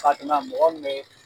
Ka ti ma mɔgɔ min be